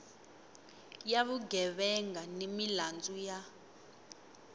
ya vugevenga ni milandzu ya